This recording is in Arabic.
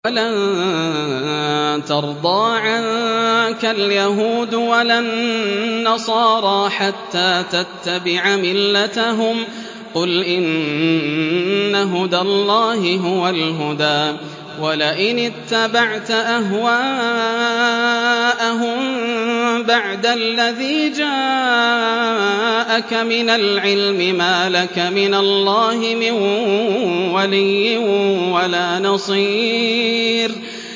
وَلَن تَرْضَىٰ عَنكَ الْيَهُودُ وَلَا النَّصَارَىٰ حَتَّىٰ تَتَّبِعَ مِلَّتَهُمْ ۗ قُلْ إِنَّ هُدَى اللَّهِ هُوَ الْهُدَىٰ ۗ وَلَئِنِ اتَّبَعْتَ أَهْوَاءَهُم بَعْدَ الَّذِي جَاءَكَ مِنَ الْعِلْمِ ۙ مَا لَكَ مِنَ اللَّهِ مِن وَلِيٍّ وَلَا نَصِيرٍ